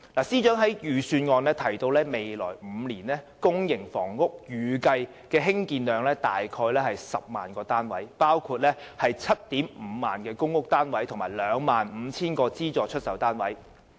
司長在預算案中提到，未來5年公營房屋單位的興建量預計約為 100,000 個，包括 75,000 個公屋單位及 25,000 個資助出售單位。